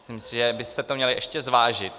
Myslím si, že byste to měli ještě zvážit.